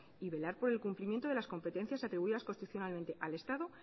y velar por el cumplimiento de las competencias atribuidas constitucionalmente al estado